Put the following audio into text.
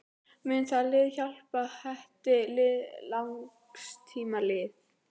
Mun það lið hjálpa Hetti til langs tíma litið?